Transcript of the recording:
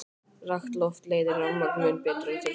Rakt loft leiðir rafmagn mun betur en þurrt loft.